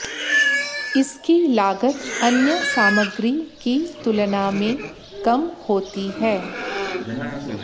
इसकी लागत अन्य सामग्री की तुलना में कम होती हैं